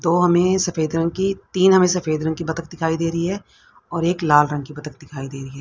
दो हमें सफेद रंग की तीन हमें सफेद रंग की बत्तख दिखाई दे रही है और एक लाल रंग की बत्तख दिखाई दे रही है।